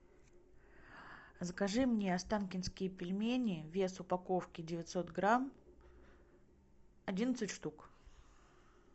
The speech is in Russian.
закажи мне останкинские пельмени вес упаковки девятьсот грамм одиннадцать штук